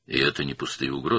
Və bunlar boş təhdidlər deyil.